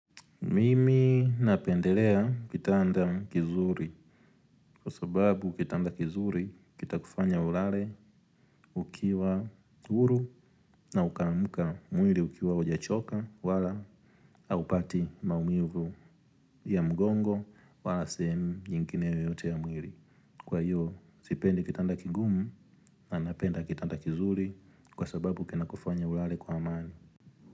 Mimi napendelea kitanda kizuri kwa sababu kitanda kizuri kitakufanya ulale ukiwa huru na ukaamuka mwili ukiwa hujachoka wala haupati maumivu ya mgongo wala sehemu nyingine yeyote ya mwili. Kwa hiyo sipendi kitanda kigumu napenda kitanda kizuri kwa sababu kinakufanya ulale kwa amani.